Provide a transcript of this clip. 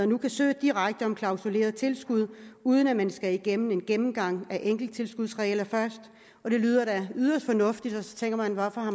nu kan søge direkte om klausuleret tilskud uden at man skal igennem en gennemgang af enkelttilskudsreglerne først og det lyder da yderst fornuftigt så tænker man hvorfor har